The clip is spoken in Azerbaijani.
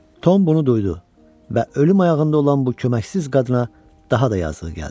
Tom bunu duydu və ölüm ayağında olan bu köməksiz qadına daha da yazığı gəldi.